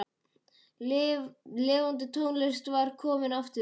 Lifandi tónlist var komin aftur.